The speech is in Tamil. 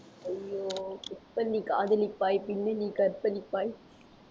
ஐயோ இப்ப நீ காதலிப்பாய் பின்ன நீ கற்பழிப்பாய்